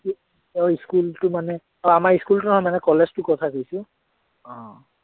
আহ school টো মানে আহ আমাৰ school টোৰ নাম ওলাইছে college টোৰ কথা কৈছো